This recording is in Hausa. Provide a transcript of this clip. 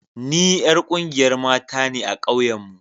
Ni yar ƙungiyar mata ne a ƙauyen mu